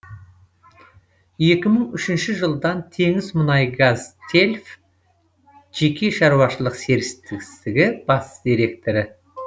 екі мың үшінші жылдан теңізмұнайгазтельф жеке шаруашылық серіктестігі бас директоры